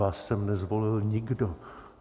Vás sem nezvolil nikdo.